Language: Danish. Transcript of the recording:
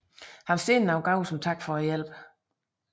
Han sendte nogle gaver som tak for hjælpen